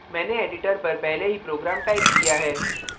मैंने editor पर पहले ही program टाइप किया है